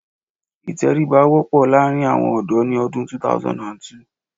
Ìtẹríba wọ́pọ̀ láàrín àwọn ọ̀dọ́ ni ọdún 2002